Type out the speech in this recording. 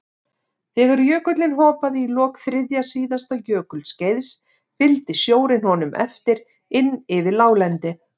Þegar jökullinn hopaði í lok þriðja síðasta jökulskeiðs fylgdi sjórinn honum eftir inn yfir láglendið.